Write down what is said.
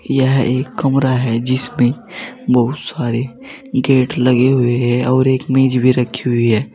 यह एक कमरा है जिसमें बहुत सारे गेट लगे हुए हैं और एक मेज भी रखी हुई है।